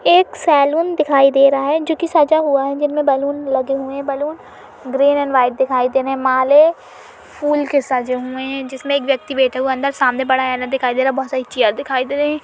एक सैलून दिखाई दे रहा है जो कि सजा हुआ है जिनमें बलून लगे हुए हैं। बलून ग्रीन एण्ड व्हाइट दिखाई दे रहे हैं। मालें फूल के सजे हुए हैं जिसमें एक व्यक्ति बैठा हुआ अंदर। सामने बड़ा आइना दिखाई दे रहा है। बहुत सारी चेयर दिखाई दे रही।